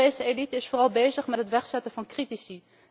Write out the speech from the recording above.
De Europese elite is vooral bezig met het wegzetten van critici.